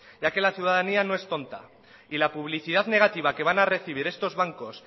ya que la ciudadanía no es tonta y la publicidad negativa que van a recibir estos bancos